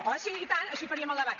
oh sí i tant així faríem el debat